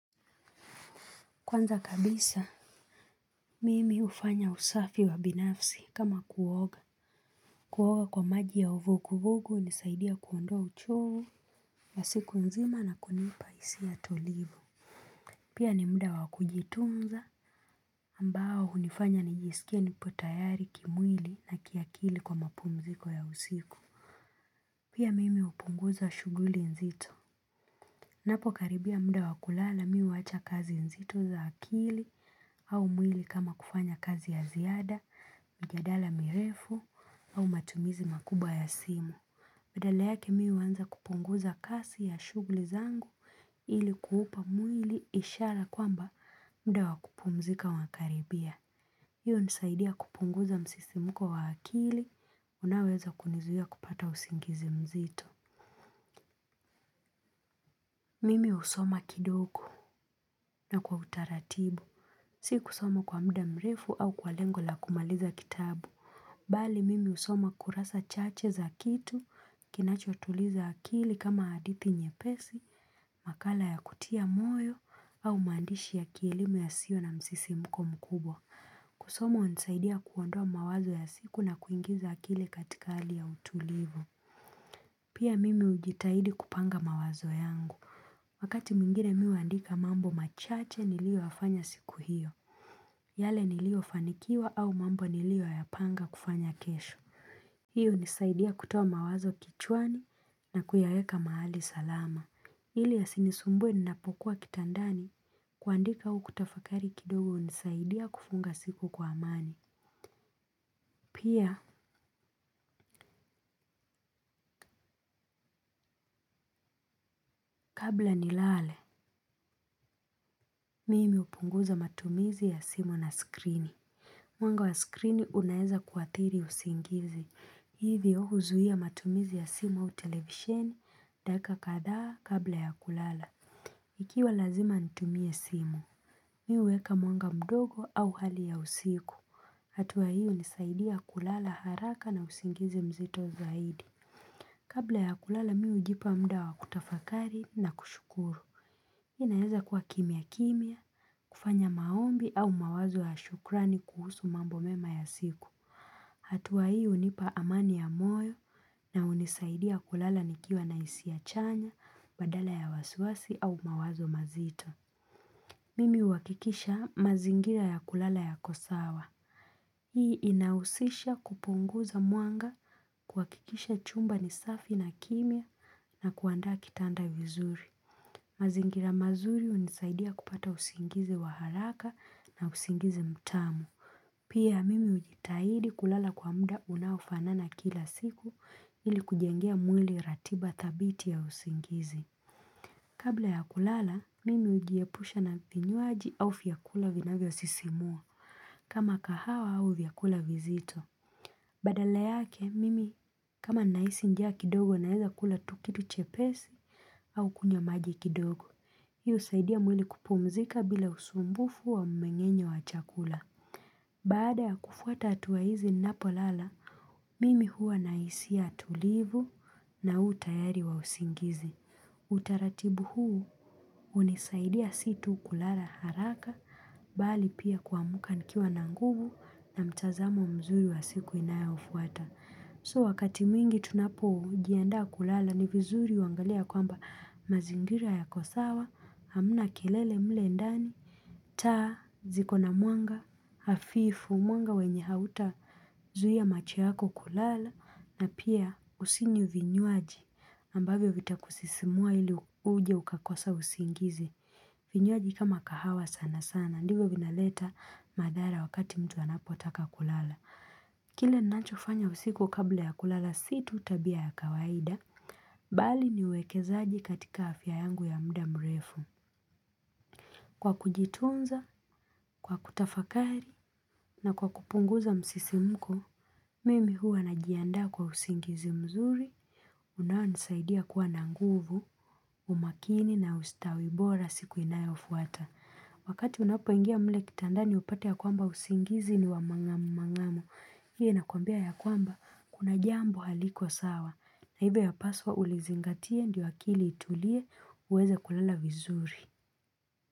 Kwanza kabisa, mimi hufanya usafi wa binafsi kama kuoga. Kuoga kwa maji ya uvukuvugu hunisaidia kuondoa uchoo ya siku nzima na kunipa hisia tolivu. Pia ni muda wakujitunza ambao hunifanya nijisikie nipo tayari kimwili na kiakili kwa mapumziko ya usiku. Pia mimi upunguza shughuli nzito. Napo karibia muda wakulala mi uwacha kazi nzito za akili au mwili kama kufanya kazi ya ziada, mijadala mirefu au matumizi makubwa ya simu. Badala yake mi huanza kupunguza kasi ya shugli zangu ili kuhupa mwili ishara kwamba muda wakupumzika wakaribia. Iyo nisaidia kupunguza msisimuko wa akili unaoweza kunizuia kupata usingizi mzito. Mimi usoma kidoko na kwa utaratibu. Si kusoma kwa muda mrefu au kwa lengo la kumaliza kitabu. Bali mimi usoma kurasa chache za kitu kinachotuliza akili kama hadithi nyepesi, makala ya kutia moyo au maandishi ya kielimu yasio na msisimko mkubwa. Kusoma unisaidia kuondoa mawazo ya siku na kuingiza akili katika hali ya utulivu. Pia mimi ujitahidi kupanga mawazo yangu. Wakati mwingine mi huandika mambo machache nilio yafanya siku hiyo. Yale nilio fanikiwa au mambo nilio yapanga kufanya kesho. Hiyo unisaidia kutoa mawazo kichwani na kuyayeka mahali salama. Hili ya sinisumbue ninapokuwa kitandani kuandika au kutafakari kidogo hunisaidia kufunga siku kwa amani. Pia kabla nilale, mimi upunguza matumizi ya simu na skrini. Mwanga wa skrini unaeza kuathiri usingizi, hivyo huzuia matumizi ya simu au televisheni, dakika kadhaa kabla ya kulala. Ikiwa lazima nitumie simu, mi huweka mwanga mdogo au hali ya usiku. Hatua hiyo hunisaidia kulala haraka na usingizi mzito zaidi. Kabla ya kulala miujipa muda wa kutafakari na kushukuru. Inaeza kwa kimya kimya, kufanya maombi au mawazo ya shukrani kuhusu mambo mema ya siku. Hatua hii unipa amani ya moyo na unisaidia kulala nikiwa na hisia chanya badala ya wasiwasi au mawazo mazito. Mimi huwakikisha mazingira ya kulala yako sawa. Hii inahusisha kupunguza mwanga kuhakikisha chumba ni safi na kimya na kuandaa kitanda vizuri. Mazingira mazuri unisaidia kupata usingizi wa haraka na usingizi mtamu. Pia mimi ujitahidi kulala kwa mda unaufanana kila siku ili kujengea mwili ratiba thabiti ya usingizi. Kabla ya kulala, mimi ujiepusha na vinywaji au vyakula vinavyo sisimua kama kahawa au vyakula vizito. Badala yake, mimi kama nahisi njaa kidogo naeza kula tu kitu chepesi au kunywa maji kidogo. Hii husaidia mwili kupumzika bila usumbufu wa mmeng'enyo wa chakula. Baada ya kufuata hatua hizi ninapo lala, mimi huwa na hisia tulivu na utayari wa usingizi. Utaratibu huu hunisaidia si tu kulala haraka, bali pia kuamka nikiwa na nguvu na mtazamo mzuri wa siku inayofuata. So wakati mwingi tunapojiandaa kulala ni vizuri uangalie kwamba mazingira yako sawa, hamna kelele mle ndani, taa zikona mwanga, hafifu mwanga wenye hauta zuia macho yako kulala na pia usinywe vinywaji ambavyo vita kusisimua ili uje ukakosa usingizi. Vinywaji kama kahawa sana sana, ndivyo vinaleta madhara wakati mtu anapotaka kulala. Kile ninacho fanya usiku kabla ya kulala si tu tabia ya kawaida, bali ni uwekezaji katika afya yangu ya muda mrefu. Kwa kujitunza, kwa kutafakari na kwa kupunguza msisimko, mimi huwa najiandaa kwa usingizi mzuri, unawao nisaidia kuwa na nguvu, umakini na ustawibora siku inayofuata. Wakati unapoingia mle kitandani upate ya kwamba usingizi ni wamang'amu mang'amu iyo inakwambia ya kwamba kuna jambo haliko sawa hivyo ya paswa ulizingatie ndio akili itulie uweza kulala vizuri.